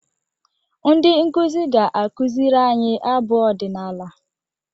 Ndị nkuzi ga-akụziri anyị abụ ọdịnala.